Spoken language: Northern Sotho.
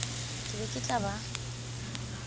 ke be ke tla ba